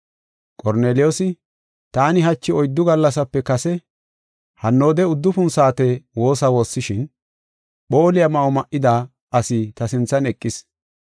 Qorneliyoosi, “Taani hachi oyddu gallasape kase hannoode uddufun saate woosa woossishin, phooliya ma7o ma7ida asi ta sinthan eqis.